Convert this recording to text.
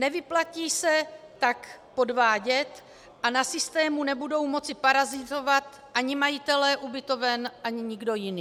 Nevyplatí se tak podvádět a na systému nebudou moci parazitovat ani majitelé ubytoven, ani nikdo jiný.